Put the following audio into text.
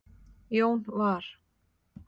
Jón var